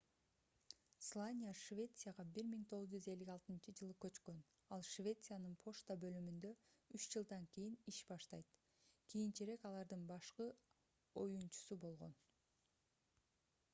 слания швецияга 1956-жылы көчкөн ал швециянын почта бөлүмүндө үч жылдан кийин иш баштайт кийинчерээк алардын башкы оюучусу болгон